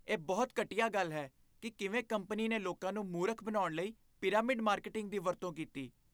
ਇਹ ਬਹੁਤ ਘਟੀਆ ਗੱਲ ਹੈ ਕਿ ਕਿਵੇਂ ਕੰਪਨੀ ਨੇ ਲੋਕਾਂ ਨੂੰ ਮੂਰਖ ਬਣਾਉਣ ਲਈ ਪਿਰਾਮਿਡ ਮਾਰਕੀਟਿੰਗ ਦੀ ਵਰਤੋਂ ਕੀਤੀ।